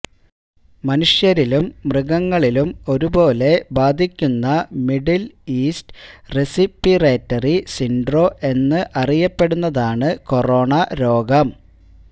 മനുഷ്യരിലും മൃഗങ്ങളിലും ഒരുപോലെ ബാധിയ്ക്കുന്ന മിഡില് ഈസ്റ്റ് റെസിപിറേറ്ററി സിന്ഡ്രോ എന്ന് അറിയപ്പെടുന്നതാണ് കൊറോണ രോഗം